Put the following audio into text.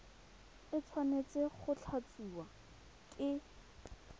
e tshwanetse go tlatsiwa ke